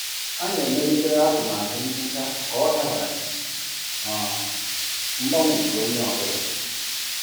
Anyị emelitere atụmatụ nhicha ka ọ dabara n'usoro um mgbanwe nke onye ọ bụla.